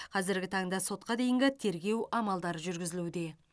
қазіргі таңда сотқа дейінгі тергеу амалдары жүргізілуде